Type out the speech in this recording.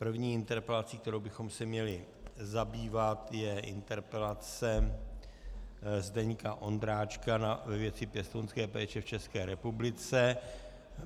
První interpelací, kterou bychom se měli zabývat, je interpelace Zdeňka Ondráčka ve věci pěstounské péče v České republice.